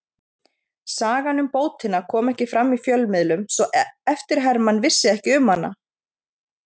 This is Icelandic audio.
Sagan um bótina kom ekki fram í fjölmiðlum svo eftirherman vissi ekki um hana.